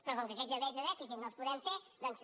però com que aquells nivells de dèficit no els podem fer doncs